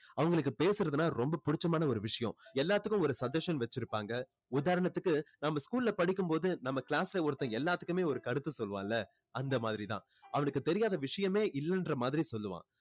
அவங்களுக்கு பேசுறதுன்னா ரொம்ப புடிச்சமான ஒரு விஷயம் எல்லாத்துக்கும் ஒரு suggestion வச்சுருப்பாங்க உதாரணத்துக்கு நம்ம school ல படிக்கும் போது class ல ஒருத்தன் எல்லாத்துக்குமே ஒரு கருத்து சொல்லுவான்ல அந்த மாதிரி தான் அவனுக்கு தெரியாத விஷயமே இல்லன்ற மாதிரி சொல்லுவான்